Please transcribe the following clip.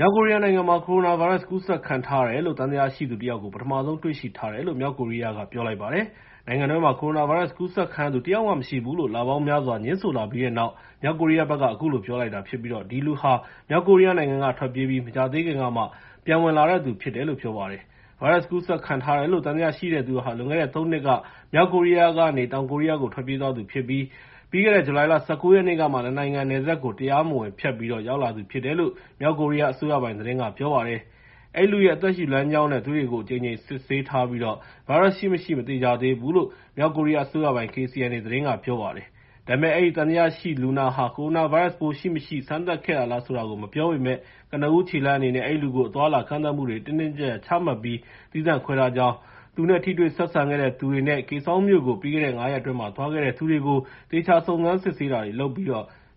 မြောက်ကိုရီးယားနိုင်ငံမှာ ကိုရိုနာဗိုင်းရပ်စ် ကူးစက်ခံထားရတယ်လို့ သံသယရှိသူ တယောက်ကို ပထမဆုံး တွေ့ရှိထားတယ်လို့ မြောက်ကိုရီးယားက ပြောလိုက်ပါတယ်။ နိုင်ငံတွင်းမှာ ကိုရိုနာဗိုင်းရပ်စ် ကူးစက်ခံရသူ တယောက်မှမရှိဘူးလို့ လပေါင်းများစွာ ငြင်းဆိုလာခဲ့ပြီးတဲ့နောက် မြောက်ကိုရီးယားဘက်က အခုလို ပြောလိုက်တာဖြစ်ပြီး အဲဒီလူဟာ မြောက်ကိုရီးယားနိုင်ငံက ထွက်ပြေးပြီး မကြာသေးခင်ကမှ ပြန်ဝင်လာတဲ့သူဖြစ်တယ်လို့ ပြောပါတယ်။ ဗိုင်းရပ်စ် ကူးစက်ခံထားရတယ်လို့ သံသယရှိသူဟာ လွန်ခဲ့တဲ့ ၃ နှစ်က မြောက်ကိုရီးယားက တောင်ကိုရီးယားကို ထွက်ပြေးသွားသူဖြစ်ပြီး ပြီးခဲ့တဲ့ ဇူလိုင်လ ၁၉ ရက်နေ့ကမှ ၂ နိုင်ငံနယ်စပ်ကို တရားမဝင်ဖြတ်ပြီး ရောက်လာသူဖြစ်တယ်လို့ မြောက်ကိုရီးယား အစိုးရပိုင်သတင်းက ပြောပါတယ်။ အဲဒီလူရဲ့ အသက်ရှူလမ်းကြောင်းနဲ့ သွေးတွေကို အကြိမ်ကြိမ် ဆေးစစ်ထားပြီး ဗိုင်းရပ်စ်ရှိမရှိ မသေချာသေးဘူးလို့ မြောက်ကိုရီးယားအစိုးရပိုင် KCNA က ကြေညာပါတယ်။ ဒါပေမယ့် အဲဒီသံသယလူနာဟာ ကိုရိုနာဗိုင်းရပ်စ်ပိုး ရှိမရှိ စမ်းသပ်ခဲ့တာလား ဆိုတာကို မပြောပေမယ့် ကနဦးခြေလှမ်းအနေနဲ့ အဲဒီလူကို အသွားအလာ ကန့်သတ်မှုတွေ တင်းတင်းကျပ်ကျပ်ချမှတ်ပြီး သီးသန့်ခွဲထားကြောင်း၊ သူနဲ့ ထိတွေ့ဆက်ဆံခဲ့တဲ့ သူတွေနဲ့ Kaesong မြို့ကို ပြီးခဲ့တဲ့ ၅ ရက်အတွင်း သွားခဲ့တဲ့သူတွေကို သေချာ စုံစမ်းစစ်ဆေးတာတွေလုပ်ပြီး